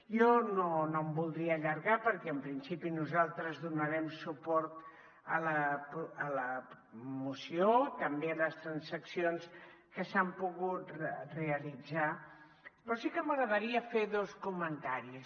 jo no em voldria allargar perquè en principi nosaltres donarem suport a la moció també a les transaccions que s’han pogut realitzar però sí que m’agradaria fer dos comentaris